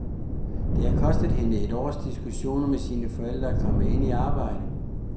Det havde kostet hende et års diskussioner med sine forældre at komme ind i arbejdet.